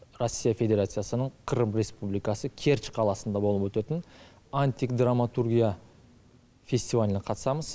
россия федерациясының крым республикасы керч қаласында болып өтетін антик драматургия фестиваліне қатысамыз